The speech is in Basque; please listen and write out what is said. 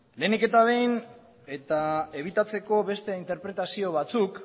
lehenik eta behin eta ebitatzeko beste interpretazio batzuk